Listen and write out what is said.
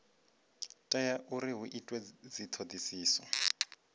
tea uri hu itwe dzithodisiso